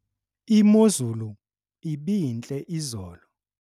imozulu ibintle izolo